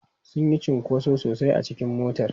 Sun yi cunkoso sosai a cikin motar.